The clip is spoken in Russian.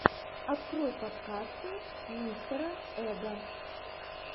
открой подкасты мистера эга